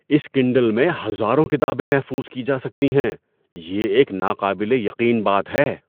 اِس کنڈل میں ہزاروں کتابیں محفوظ کی جا سکتی ہیں۔ یہ ایک ناقابل یقین بات ہے!